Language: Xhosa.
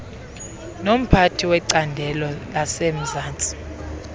nomphathi wecandelo lasemzantsi